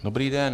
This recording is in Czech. Dobrý den.